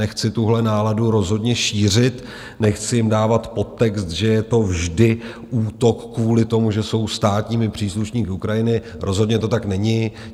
Nechci tuhle náladu rozhodně šířit, nechci jim dávat podtext, že je to vždy útok kvůli tomu, že jsou státními příslušníky Ukrajiny, rozhodně to tak není.